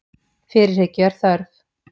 Fyrirhyggju er þörf